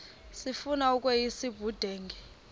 sifuna ukweyis ubudenge